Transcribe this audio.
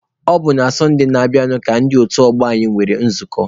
Ọ bụ na Satụde na-abịanụ ka ndị otu ọgbọ anyị nwere nzukọ.